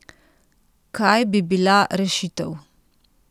Kaj bi bila rešitev?